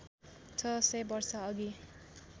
६ सय वर्षअघि